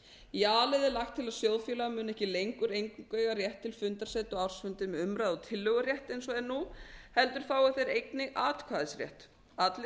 í a lið er lagt til að sjóðfélagar muni ekki lengur eingöngu eiga rétt til fundarsetu á ársfundi með umræðu og tillögurétt eins og er nú heldur fái þeir einnig atkvæðisrétt allir